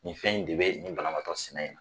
Nin fɛn in de bɛ nin banabaatɔ sina in na